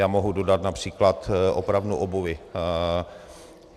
Já mohu dodat například opravnu obuvi.